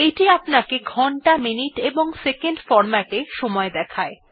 এইটি আমাদেরকে ঘন্টা মিনিট এবং সেকেন্ডহ্ এমএম এসএস ফরম্যাট এ সময় দেখায়